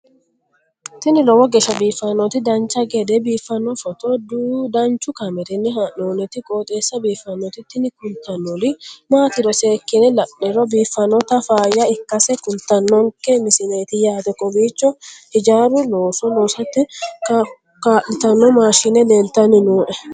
tini lowo geeshsha biiffannoti dancha gede biiffanno footo danchu kaameerinni haa'noonniti qooxeessa biiffannoti tini kultannori maatiro seekkine la'niro biiffannota faayya ikkase kultannoke misileeti yaate kowiicho hijaaru looso loosate kaa'litanno maashshine leltanni nooe